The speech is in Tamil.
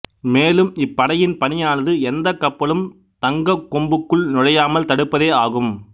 மேலும் இப்படையின் பணியானது எந்தக் கப்பலும் தங்க கொம்புக்குள் நுழையாமல் தடுப்பதே ஆகும்